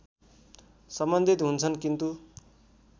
सम्बन्धित हुन्छन् किन्तु